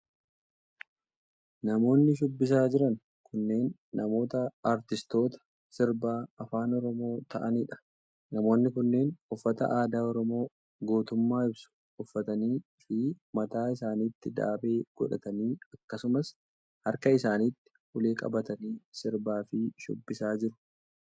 Namoonni shubbisaa jiran kunneen. namoota aartistoota sirba afaan Oromoo ta'anii dha. Namoonni kunneen uffata aadaa Oromoo gootummaa ibsu uffatanii fi mataa isaanitti daabee godhatanii akkasumas harka isaanitti ulee qabatanii sirbaa fi shubbisaa jiru.